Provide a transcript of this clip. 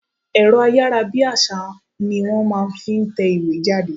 Ẹ̀rọ ayára bí àsá ni wọ́n máa ń fi ń tẹ ìwé jáde.